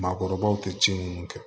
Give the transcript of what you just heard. Maakɔrɔbaw tɛ ci minnu kɛ